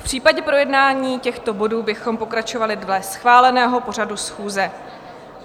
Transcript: V případě projednání těchto bodů bychom pokračovali dle schváleného pořadu schůze.